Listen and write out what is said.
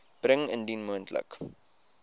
bring indien moontlik